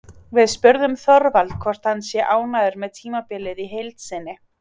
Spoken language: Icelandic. Við spurðum Þorvald hvort hann sé ánægður með tímabilið í heild sinni?